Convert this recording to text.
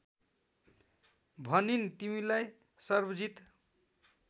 भनिन् तिमीलाई सर्वजित